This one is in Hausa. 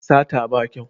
Sata ba kyau